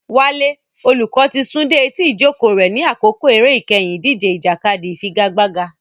Wale, olùkọ́, ti sún dé etí ìjókòó rẹ̀ ní àkókò eré ìkẹyìn ìdíje ìjàkadì ìfigagbága.